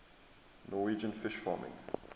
norwegian fish farming